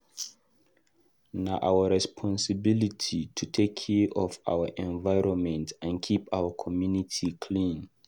Na our responsibility to take care of our environment and keep our community clean.